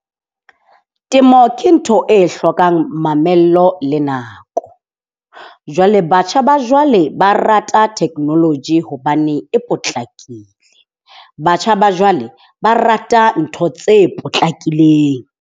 Temo ke ntho e hlokang mamello le nako. Jwale batjha ba jwale ba rata technology hobane e potlakile. Batjha ba jwale ba rata ntho tse potlakileng.